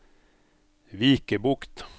Vikebukt